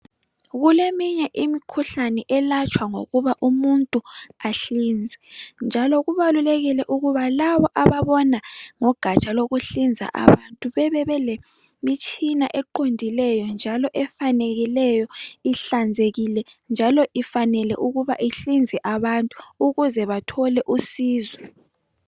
Kuleminye imikhuhlane elatshwa ngokuba umuntu ahlinzwe njalo kubalulekile ukuba labo ababona ngogatsha lokuhlinza abantu bebebelemitshina eqondileyo njalo efanekileyo ihlanzekile njalo ifanele ukuba ihlinze abantu ukuze bathole usizo.